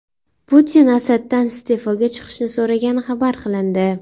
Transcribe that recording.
Putin Asaddan iste’foga chiqishni so‘ragani xabar qilindi .